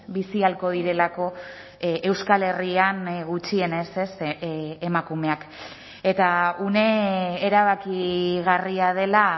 bizi ahalko direlako euskal herrian gutxienez emakumeak eta une erabakigarria dela